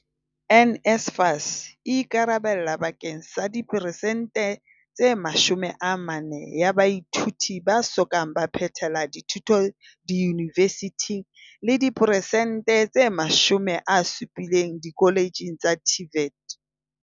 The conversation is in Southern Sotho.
NSFAS e ikarabella bake ng sa diperesente tse 40 ya baithuti ba so ka ba phethela dithuto diyunivesithing le diperesente tse 70 dikoletjheng tsa TVET.